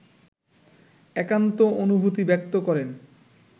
একান্ত অনুভূতি ব্যক্ত করেন